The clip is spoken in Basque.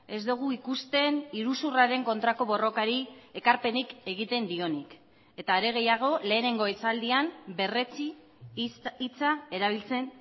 ez dugu ikusten iruzurraren kontrako borrokari ekarpenik egiten dionik eta are gehiago lehenengo esaldian berretsi hitza erabiltzen